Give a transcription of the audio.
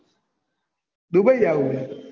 Dubai જાવું છે